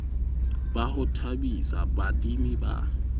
ba ho thabisa baadimi ba